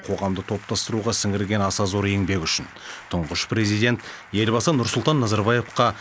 қоғамды топтастыруға сіңірген аса зор еңбегі үшін тұңғыш президент елбасы нұрсұлтан назарбаевқа